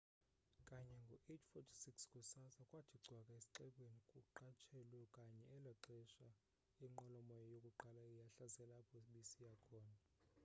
kanye ngo 8:46 kusasa kwathi cwaka esxekweni kuqatshelwa kanye elaxesha inqwelo moya yokuqala yahlasela apho bisiya khona